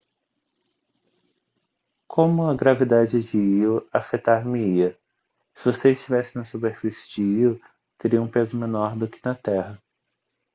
como a gravidade de lo afetar-me-ia se você estivesse na superfície de lo teria um peso menor do que na terra